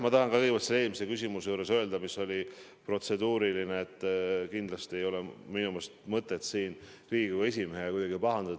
Ma tahan kõigepealt öelda seoses eelmise küsimusega, mis oli protseduuriline, et kindlasti ei ole minu meelest Riigikogu esimehel mõtet kuidagi pahandada.